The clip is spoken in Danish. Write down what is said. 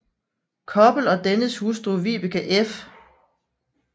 Koppel og dennes hustru Vibeke f